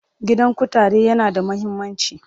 Gidan kutare yana da muhimmanci.